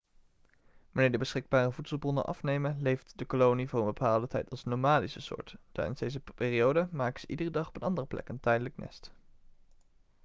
wanneer de beschikbare voedselbronnen afnemen leeft de kolonie voor een bepaalde tijd als nomadische soort tijdens deze periode maken ze iedere dag op een andere plek een tijdelijk nest